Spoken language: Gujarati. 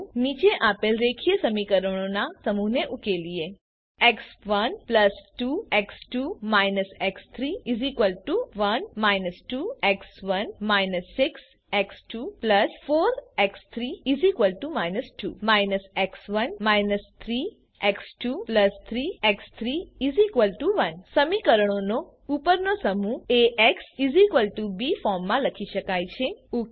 ચાલો નીચે આપેલ રેખીય સમીકરણોના સમૂહને ઉકેલીએ x one 2 x two − x three 1 −2 x one − 6 x two 4 x three − 2 −x1 −3 x two 3 x three 1 સમીકરણોનો ઉપરનો સમૂહ એક્સ બી ફોર્મમાં લખી શકાય છે